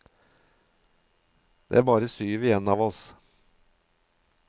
Det er bare syv igjen av oss.